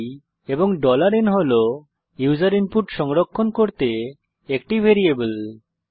i এবং n হল user input সংরক্ষণ করতে একটি ভ্যারিয়েবল